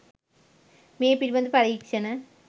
මේ පිළිබඳ පරීක්ෂණ